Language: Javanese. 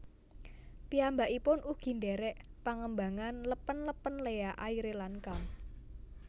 Piyambakipun ugi ndhèrèk pangembangan lèpèn lèpèn Lea Aire lan Cam